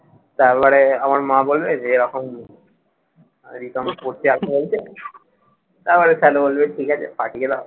তারপরে আমার মা বলবে যে এরকম, রিতমের পড়তে আসা লাগছে, তারপরে স্যার বলবে ঠিক আছে পাঠিয়ে দাও।